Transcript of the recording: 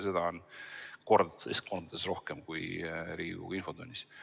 Seda on kordades rohkem kui Riigikogu infotunnis.